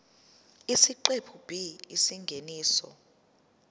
isiqephu b isingeniso